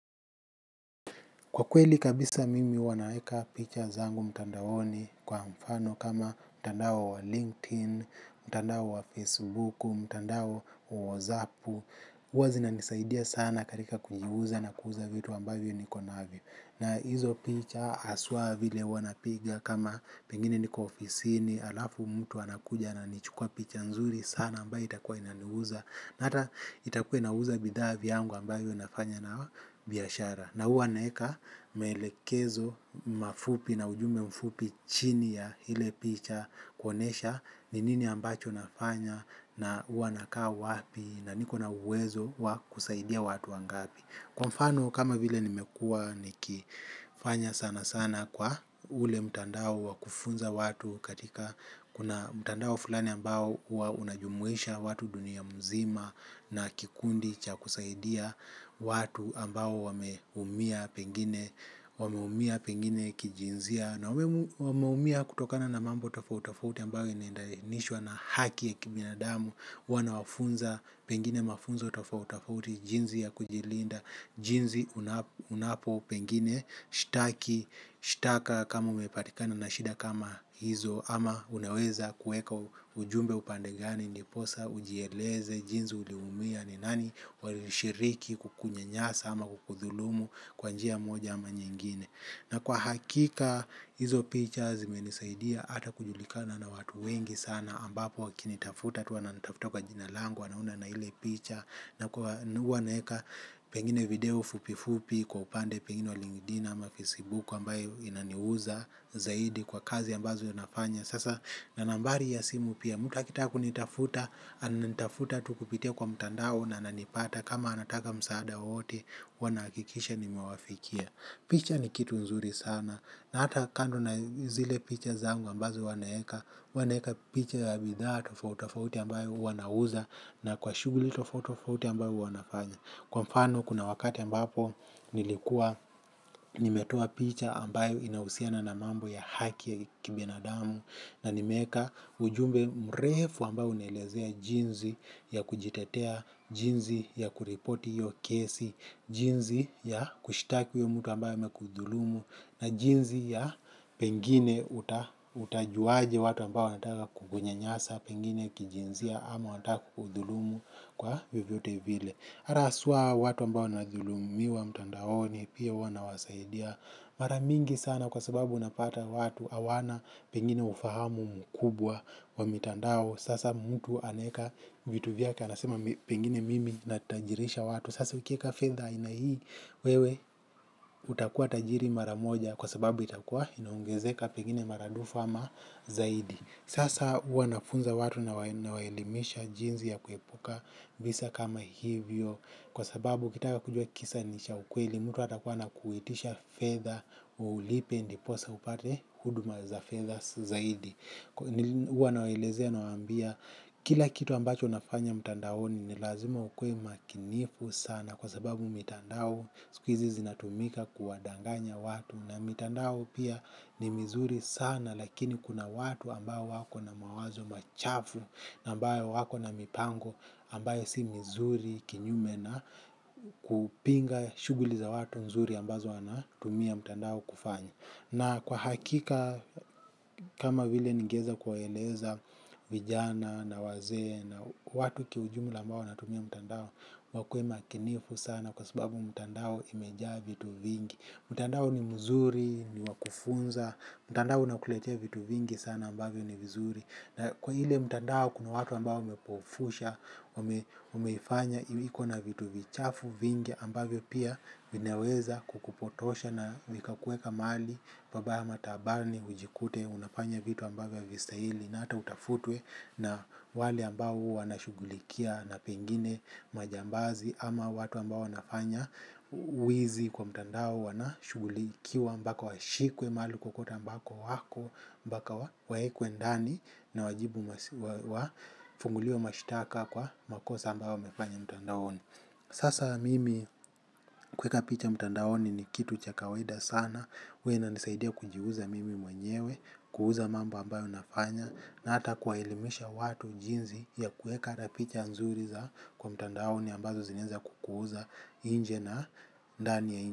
Kwa kweli kabisa mimi huwa naeka picha zangu mtandaoni kwa mfano kama mtandao wa LinkedIn, mtandao wa Facebook, mtandao wa WhatsApp. Huwa sinanisaidia sana katika kuiuza na kuuza vitu ambavyo niko navyo. Na hizo picha haswa vile huwa napiga kama pengine niko ofisini, alafu mtu anakuja ananichukua picha nzuri sana ambayo itakua inaniuza. Hata itakuwa inauza bidhaa vyangu ambayo nafanya nayo biashara. Na huwa naeka maelekezo mafupi na ujumbe mfupi chini ya ile picha kuonesha ni nini ambacho nafanya na huwa nakaa wapi na niko na uwezo wa kusaidia watu wangapi. Kwa mfano kama vile nimekuwa nikifanya sana sana kwa ule mtandao wa kufunza watu katika kuna mtandao fulani ambao hua unajumuisha watu dunia mzima na kikundi cha kusaidia watu ambao wameumia pengine kijinsia. Na wameumia kutokana na mambo tofauti tofauti ambayo inaendanishwa na haki ya kibinadamu wanawafunza pengine mafunzo tofauti tofauti jinsi ya kujilinda jinsi unapo pengine shtaki shtaka kama umepatikana na shida kama hizo ama uneweza kueka ujumbe upande gani ndiposa ujieleze jinsi uliumia ni nani walishiriki kukunyanyasa ama kukudhulumu kwa njia moja ama nyingine. Na kwa hakika hizo picha zimenisaidia hata kujulikana na watu wengi sana ambapo wakinitafuta tu wananitafuta kwa jina langu wanaona na iile picha. Na kwa huwa naeka pengine video fupifupi kwa upande pengine wa LinkedIn ama Facebook ambayo inaniuza zaidi kwa kazi ambazo ninafanya. Sasa na nambari ya simu pia mtu akitaka kunitafuta ananitafuta tu kupitia kwa mtandao na ananipata kama anataka msaada wowote huwa nahakikisha nimewafikia. Picha ni kitu nzuri sana na hata kando na zile picha zangu ambazo huwa naeka, huwa naeka picha ya bidhaa tofauti tofauti ambayo huwa nauza na kwa shughuli tofauti tofauti ambayo huwa nafanya. Kwa mfano kuna wakati ambapo nilikuwa nimetoa picha ambayo inahusiana na mambo ya haki ya kibinadamu na nimeeka ujumbe mrefu ambao unaelezea jinsi ya kujitetea, jinsi ya kuripoti hiyo kesi, jinsi ya kushitaki huyo mtu ambayo amekudhulumu na jinsi ya pengine utajuaje watu ambao wanataka kukunyanyasa, pengine kijinsia ama wanataka kukudhulumu kwa vyovyote vile. Mara hasua watu ambao wanadhulumiwa mtandaoni pia huwa nawasaidia. Mara mingi sana kwa sababu unapata watu hawana pengine ufahamu mkubwa wa mitandao. Sasa mtu anaeka vitu vyake anasema pengine mimi natajirisha watu. Sasa ukieka fedha aina hii wewe utakuwa tajiri mara moja kwa sababu itakuwa inaongezeka pengine maradufu ama zaidi. Sasa huwa nafunza watu na nawaelimisha jinsi ya kuepuka visa kama hivyo. Kwa sababu ukitaka kujua kisa ni cha ukweli mtu hatakuwa anakuitisha fedha ulipe ndiposa upate huduma za fedha zaidi huwa nawaelezea nawaambia. Kila kitu ambacho nafanya mtandaoni ni lazima ukuwe makinifu sana. Kwa sababu mitandao sikuhizi zinatumika kuwadanganya watu. Na mitandao pia ni mizuri sana lakini kuna watu ambao wako na mawazo machafu. Na ambayo wako na mipango ambayo si mizuri kinyume na kupinga shuguli za watu nzuri ambazo wanatumia mtandao kufanya. Na kwa hakika kama bile nigeeza kuwaeleza vijana na wasee na watu kiujumula ambao wanatumia mtandao wakuwe makinifu sana kwa sababu mtandao imejaa vitu vingi. Mtandao ni mzuri, niwa kufunza, mtandao unakuletea vitu vingi sana ambavyo ni vizuri. Na kwa ile mtandao kuna watu ambao umepofusha, umeifanya, ikona vitu vichafu vingi ambavyo pia vineweza kukupotosha na vikakuweka mahali babaya ama taabani, ujikute, unafanya vitu ambavyo havistahili na hata utafutwe na wale ambao wanashughulikia na pengine majambazi ama watu ambao wanafanya wizi kwa mtandao wanashugulikiwa ambako washikwe mahali kwokwote ambako wako mpaka waekwe ndani na wajibu wafunguliwe mashtaka kwa makosa ambayo wamefanya mtandaoni sasa mimi kuweka picha mtandaoni ni kitu cha kawaida sana huwa inanisaidia kujiuza mimi mwenyewe, kuuza mambo ambayo nafanya. Na hata kuwaelimisha watu jinsi ya kuweka hata picha nzuri za kwa mtandaoni ambazo zinaeza kukuuza nje na ndani ya nje.